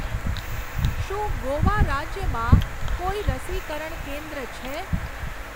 શું ગોવા રાજ્યમાં કોઈ રસીકરણ કેન્દ્ર છે?